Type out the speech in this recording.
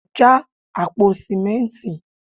já àpò sìmẹ́ntì